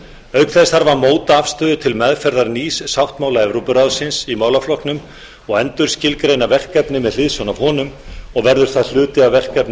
auk þess þarf að móta afstöðu til meðferðar nýs sáttmála evrópuráðsins í málaflokknum og endurskilgreina verkefni með hliðsjón af honum og verður það hluti af verkefnum